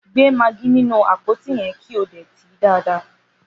Gbé magí nínú àpótí yẹn, kí o dè tìí dáadáa!